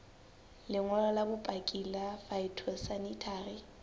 lengolo la bopaki la phytosanitary